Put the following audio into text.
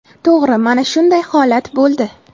To‘g‘ri, mana shunday holat bo‘ldi.